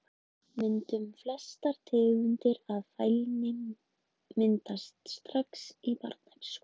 Myndun Flestar tegundir af fælni myndast strax í barnæsku.